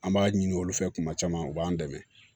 An b'a ɲini olu fɛ kuma caman u b'an dɛmɛ